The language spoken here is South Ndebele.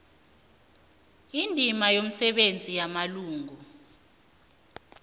indima yomsebenzi yamalungu